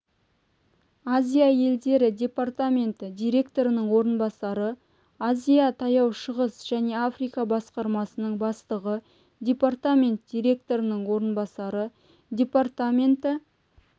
азия елдері департаменті директорының орынбасары азия таяу шығыс және африка басқармасының бастығы департамент директорының орынбасары департаменті